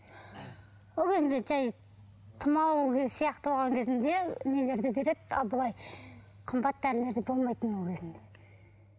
ол кезінде жай тұмау сияқты болған кезінде нелерді береді ал былай қымбат дәрілерді болмайтын ол кезінде